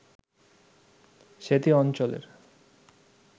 সেতী অঞ্চলের